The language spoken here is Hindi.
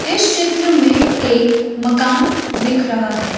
इस चित्र में एक मकान दिख रहा है।